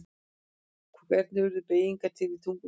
Hvernig urðu beygingar til í tungumálum?